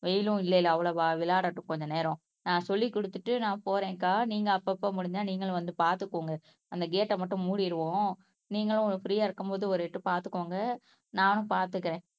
வெயிலும் இல்லைல்ல அவ்வளவா விளையாடட்டும் கொஞ்ச நேரம் ஆஹ் சொல்லிக் கொடுத்துட்டு நான் போறேன்க்கா நீங்க அப்பப்போ முடிஞ்சா நீங்களும் வந்து பார்த்துக்கோங்க அந்த கேட் ஆஹ் மட்டும் மூடிடுவோம் நீங்களும் பிரீயா இருக்கும்போது ஒரு எட்டு பார்த்துக்கோங்க நானும் பார்த்துக்கறேன்